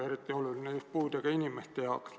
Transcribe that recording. Eriti oluline on puudega inimeste jaoks.